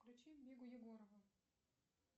включи мигу егорову